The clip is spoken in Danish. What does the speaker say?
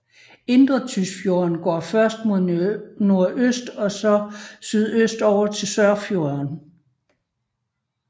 Indre Tysfjorden går først mod nordøst og så sydøstover til Sørfjorden